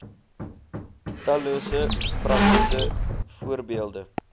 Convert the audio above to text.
tallose praktiese voorbeelde